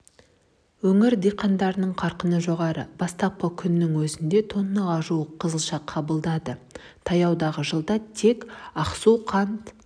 өңір диқандарының қарқыны жоғары бастапқы күннің өзінде тоннаға жуық қызылша қабылданды таяудағы жылда тек ақсу қант